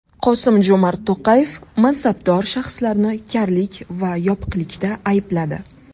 Qosim-Jo‘mart To‘qayev mansabdor shaxslarni karlik va yopiqlikda aybladi.